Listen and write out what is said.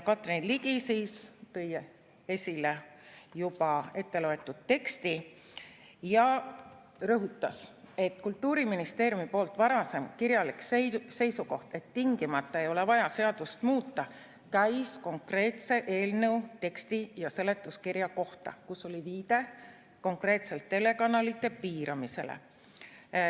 Karin Ligi tõi siis esile juba etteloetud teksti ja rõhutas, et Kultuuriministeeriumi varasem kirjalik seisukoht, et tingimata ei ole vaja seadust muuta, käis konkreetse eelnõu teksti ja seletuskirja kohta, kus oli viide konkreetselt telekanalite piiramisele.